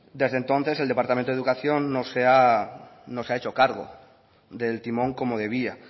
desde entonces el departamento de educación no se ha hecho cargo del timón como debía